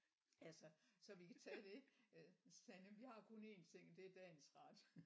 Altså så vi kan tage det øh så sagde han vi har kun en ting og det er dagens ret